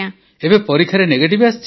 ଏବେ ପରୀକ୍ଷାରେ ନେଗେଟିଭ୍ ଆସିଛି